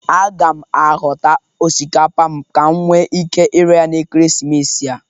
Aga m ahọta osikapa m ka m nwe ike ire ya na ekeresimesi a.